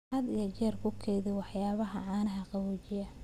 Had iyo jeer ku kaydi waxyaabaha caanaha qaboojiyaha.